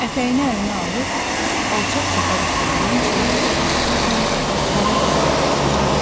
Ətəyini əlinə alıb, alçaq çəpər üstündən çevik bir hərəkətlə dərə kənarına sıçradı.